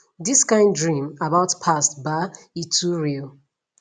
this kind dream about past ba e too real